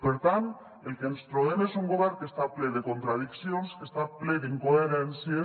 per tant el que ens trobem és un govern que està ple de contradiccions que està ple d’incoherències